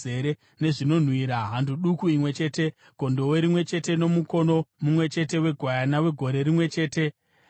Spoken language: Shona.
hando duku imwe chete, gondobwe rimwe chete nomukono mumwe chete wegwayana wegore rimwe chete, sechipiriso chinopiswa;